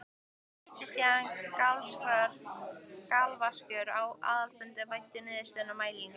Mætti síðan galvaskur á aðalfund væddur niðurstöðum mælinganna.